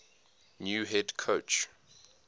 new head coach